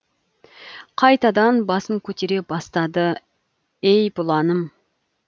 қайтадан басын көтере бастады ей бұланым